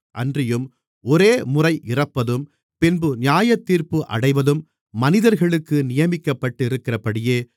அன்றியும் ஒரேமுறை இறப்பதும் பின்பு நியாயத்தீர்ப்பு அடைவதும் மனிதர்களுக்கு நியமிக்கப்பட்டிருக்கிறபடியே